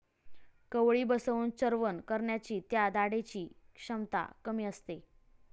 कवळी बसवून चर्वण करण्याची त्या दाढेची क्षमता कमी असते.